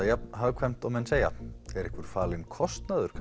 jafn hagkvæmt og menn segja er einhver falinn kostnaður